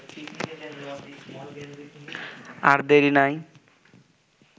আর দেরি নাই